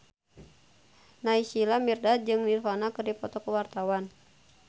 Naysila Mirdad jeung Nirvana keur dipoto ku wartawan